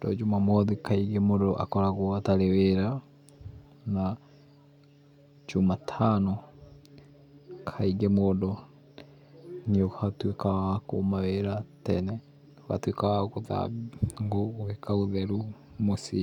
tondũ Jumamothi kaingĩ mũndũ akoragwo atarĩ wĩra na Jumatano kaingĩ mũndũ nĩ atuĩkaga wa kũma wĩra tene ũgatuĩka wa gũthambia ngũo gũĩka ũtheru mũciĩ